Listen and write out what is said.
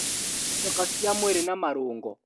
Icoka cia mwĩrĩ, na marũngo